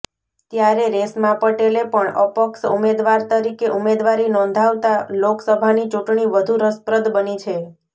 ત્યારે રેશમા પટેલે પણ અપક્ષ ઉમેદવાર તરીકે ઉમેદવારી નોંધાવતા લોકસભાની ચૂંટણી વધુ રસપ્રદ બની છે